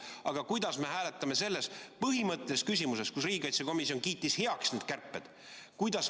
Aga kuidas me hääletame selles põhimõttelises küsimuses, kus riigikaitsekomisjon kiitis heaks need kärped?